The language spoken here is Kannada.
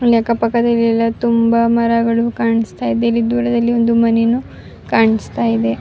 ಅಲ್ಲಿ ಅಕ್ಕ ಪಕ್ಕದಲ್ಲಿ ಎಲ್ಲ ತುಂಬಾ ಮರಗಳು ಕಾಣಿಸ್ತಾ ಇದೆ ಅಲ್ಲಿ ದೂರದಲ್ಲಿ ಒಂದು ಮನೇನು ಕಾಣಿಸ್ತಾ ಇದೆ-